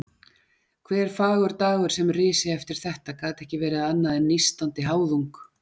Hver fagur dagur sem risi eftir þetta gat ekki verið annað en nístandi háðung.